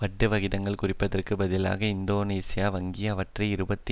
வட்டி வகிதங்களை குறைப்பதற்கு பதிலாக இந்தோனேசிய வங்கி அவற்றை இருபத்தி